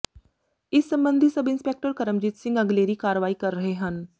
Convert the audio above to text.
ਇਸ ਸਬੰਧੀ sub inspector Karamjit Singh ਅਗਲੇਰੀ ਕਾਰਵਾਈ ਕਰ ਰਹੇ ਹਨ